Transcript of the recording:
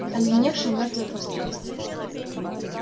оледеневшее мёртвое пространство